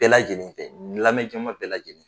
Bɛɛ lajɛlen tɛ, n lamɛjama bɛɛ lajɛlen